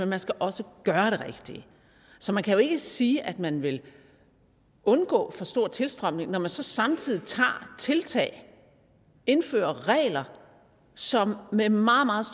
man skal også gøre det rigtige så man kan jo ikke sige at man vil undgå for stor tilstrømning når man så samtidig tager tiltag indfører regler som med meget meget